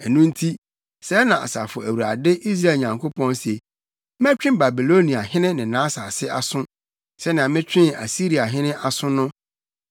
Ɛno nti, sɛɛ na Asafo Awurade, Israel Nyankopɔn se: “Mɛtwe Babiloniahene ne nʼasase aso sɛnea metwee Asiriahene aso no.